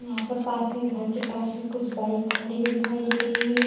यहाँ पर पास में घर के पास में कुछ बाइक खड़ी हुई दिखाई दे रही है।